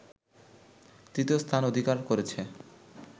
তৃতীয় স্থান অধিকার করেছে